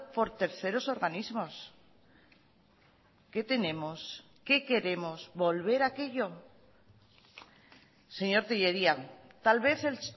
por terceros organismos qué tenemos qué queremos volver a aquello señor tellería tal vez el